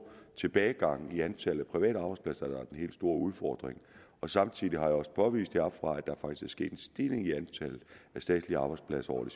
tilbagegang i antallet af private arbejdspladser der den helt store udfordring samtidig har jeg også påvist heroppefra at der faktisk er sket en stigning i antallet af statslige arbejdspladser